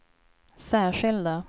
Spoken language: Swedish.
särskilda